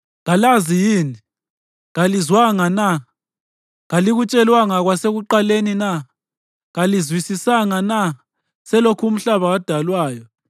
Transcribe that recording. Kalazi yini? Kalizwanga na? Kalikutshelwanga kwasekuqaleni na? Kalizwisisanga na selokhu umhlaba wadalwayo?